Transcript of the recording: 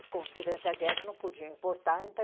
durante a guerra não podiam importar